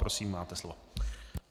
Prosím, máte slovo.